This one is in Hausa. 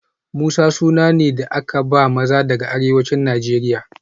Musa suna ne da aka ba maza daga arewacin Najeriya